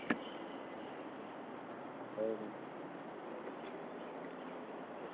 എന്തായാലും